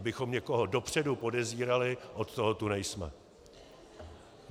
Abychom někoho dopředu podezírali, od toho tu nejsme.